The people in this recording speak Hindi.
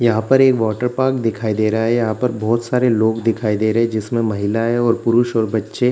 यहाँ पर एक वाटर पार्क दिखाई दे रहा है यहाँ पर बहोत सारे लोग दिखाई दे रहे हैं जिसमें महिलाएं और पुरुष और बच्चे --